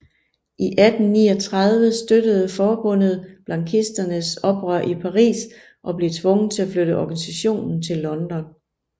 I 1839 støttede forbundet blanquisternes oprør i Paris og blev tvunget til at flytte organisationen til London